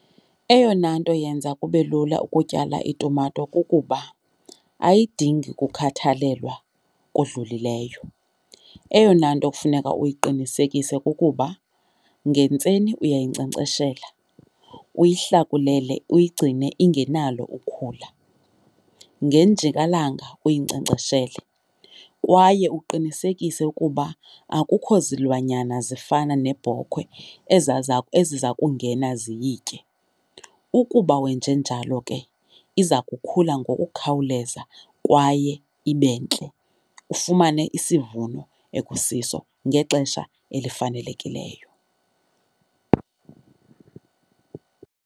Eyona nto yenza kube lula ukutyala itumato kukuba ayidingi kukhathalelwa kudlulileyo. Eyona nto kufuneka uyiqinisekise kukuba ngentseni uyayinkcenkceshela, uyihlakulele uyigcine ingenalo ukhula. Ngenjikalanga uyinkcenkceshele kwaye uqinisekise ukuba akukho zilwanyana zifana neebhokhwe eziza kungena ziyitye. Ukuba wenje njalo lonke iza kukhula ngokukhawuleza kwaye ibe ntle, ufumane isivuno ekusiso ngexesha elifanelekileyo.